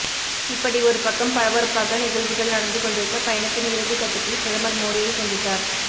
இப்படி ஒரு பக்கம் பரபரப்பாக நிகழ்வுகள் நடந்துகொண்டிருக்க பயணத்தின் இறுதி கட்டத்தில் பிரதமர் மோடியை சந்தித்தார்